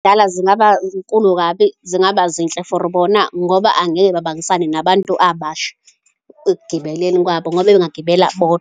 zingaba zinkulu kabi, zingaba zinhle for bona ngoba angeke babangisane nabantu abasha ekugibeleni kwabo ngoba bengagibela .